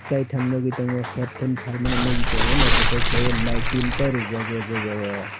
kaitam nogoi tango headphone paimani nogoi tango naitotok kelai oe light tinta rijak o jaga o.